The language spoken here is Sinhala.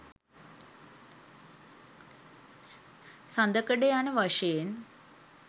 සඳකඩ යන වශයෙන්